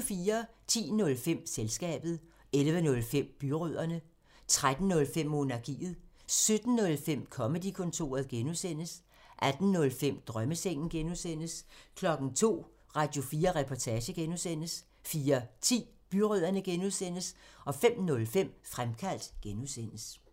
10:05: Selskabet 11:05: Byrødderne 13:05: Monarkiet 17:05: Comedy-kontoret (G) 18:05: Drømmesengen (G) 02:00: Radio4 Reportage (G) 04:10: Byrødderne (G) 05:05: Fremkaldt (G)